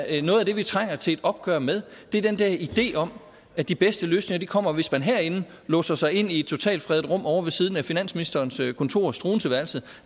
at noget af det vi trænger til et opgør med er den der idé om at de bedste løsninger kommer hvis man herindefra låser sig inde i et totalfredet rum ovre ved siden af finansministerens kontor struenseeværelset